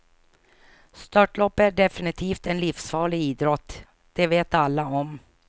Störtlopp är definitivt en livsfarlig idrott, det vet alla om.